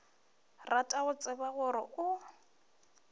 rata go tseba gore o